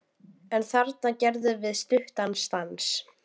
En þarna gerðum við stuttan stans